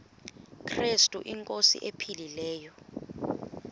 krestu inkosi ephilileyo